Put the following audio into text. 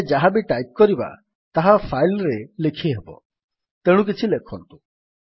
ଆମେ ଯାହାବି ଟାଇପ୍ କରିବା ତାହା ଫାଇଲ୍ ରେ ଲେଖିହେବ ତେଣୁ କିଛି ଲେଖନ୍ତୁ